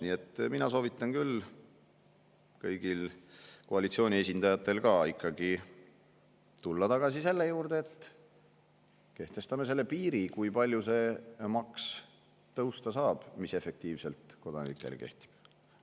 Nii et mina soovitan küll kõigil, ka koalitsiooni esindajatel, ikkagi tulla tagasi selle juurde, et kehtestame piiri, kui palju see maks tõusta saab, mis efektiivselt kodanikele kehtib.